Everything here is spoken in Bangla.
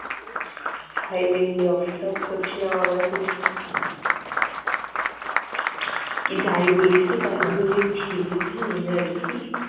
silently observe করছিলাম আমরা দুইজন। তু্ই যাই বলিস কি তাই বলিস, ছেলেটার energy